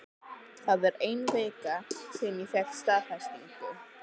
Það er ein vika síðan ég fékk staðfestingu.